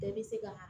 Bɛɛ bɛ se kaa